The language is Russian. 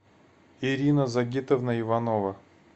ирина загитовна иванова